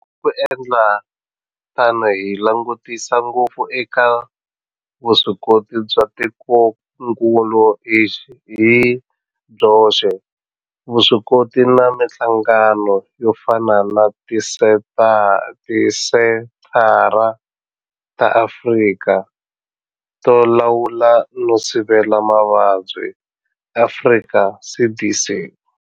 Hi ku endla tano hi langutisa ngopfu eka vuswikoti bya tikokulu hi byoxe, vuswikoti na mihlangano yo fana na Tisenthara ta Afrika to Lawula no Sivela Mavabyi, Afrika CDC.